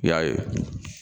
I y'a ye